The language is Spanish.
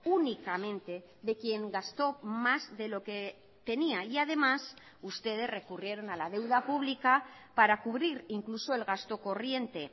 únicamente de quién gasto más de lo que tenía y además ustedes recurrieron a la deuda pública para cubrir incluso el gasto corriente